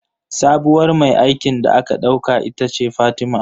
Sabuwar mai aikin da aka ɗauka ita ce Fatima